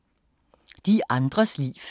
De andres liv